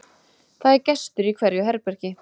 það er gestur í hverju herbergi